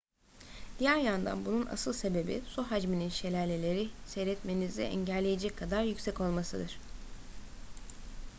diğer yandan bunun asıl sebebi su hacminin şelaleleri seyretmenizi engelleyecek kadar yüksek olmasıdır